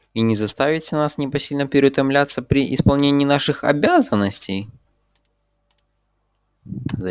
и не заставите нас непосильно переутомляться при исполнении наших обязанностей